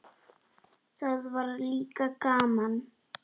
Það var líka gaman.